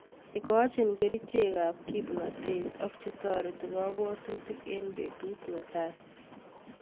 Igochin kerichekab kimnotet ak chetore jobwotutik en betut netai.